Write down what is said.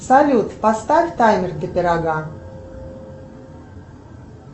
салют поставь таймер для пирога